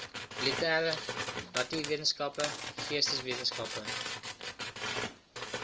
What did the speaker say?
lettere natuurwetenskappe geesteswetenskappe